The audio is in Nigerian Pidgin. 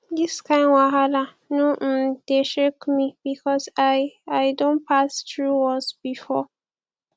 dis kain wahala no um dey shake me because i i don pass through worse before